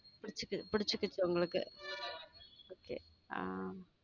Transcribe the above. பிடிச்சிட்டு பிடிச்சிட்டு இப்போ உங்களுக்கு okay ஹம்